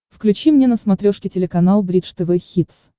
включи мне на смотрешке телеканал бридж тв хитс